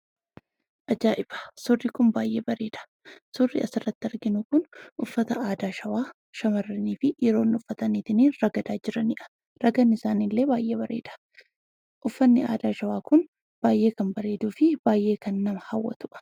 Ajaa'iba! Suurri kun baayyee bareeda. Suurri asirratti arginu kun uffata aadaa shawaa, shamarraniifi dhiironni uffataniitin ragadaa jiraniidha. Ragadnisaaniillee baayyee bareeda. Uffanni aadaa shawaa kun baayyee kan bareeduufi baayyee kan nama hawwatudha.